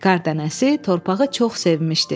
Qar dənəsi torpağı çox sevmişdi.